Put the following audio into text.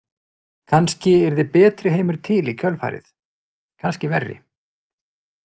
Kannski yrði betri heimur til í kjölfarið, kannski verri.